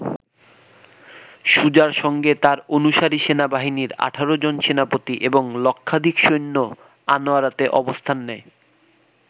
সুজার সঙ্গে তার অনুসারী সেনাবাহিনীর ১৮ জন সেনাপতি এবং লক্ষাধিক সৈন্য আনোয়ারাতে অবস্থান নেয়।